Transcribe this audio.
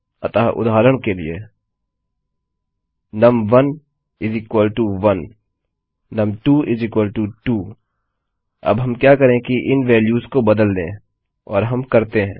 अतः उदहारण के लिए num11 num22 अब हम क्या करें कि इन वेल्यू्स को बदल दें और हम करते हैं